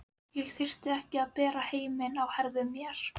Ég þyrfti ekki að bera heiminn á herðum mér.